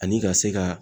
Ani ka se ka